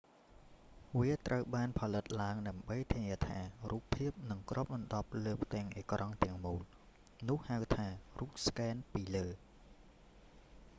វាត្រូវបានផលិតឡើងដើម្បីធានាថា រូបភាពនឹងគ្របដណ្ដប់លើផ្ទាំងអេក្រង់ទាំងមូល នោះហៅថា រូបស្កែនពីលើ